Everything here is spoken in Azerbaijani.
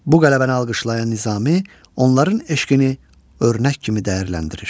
Bu qələbəni alqışlayan Nizami onların eşqini örnək kimi dəyərləndirir.